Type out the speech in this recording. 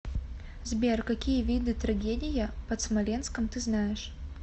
сбер какие виды трагедия под смоленском ты знаешь